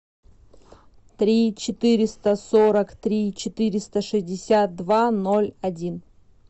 три четыреста сорок три четыреста шестьдесят два ноль один